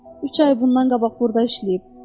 Üç ay bundan qabaq burda işləyib.